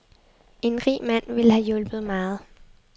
En rig mand ville have hjulpet meget.